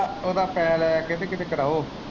ਉਦਾ ਫੈਨ ਐ ਕਿੱਡ ਕਿੱਡ ਕਰਾਓ।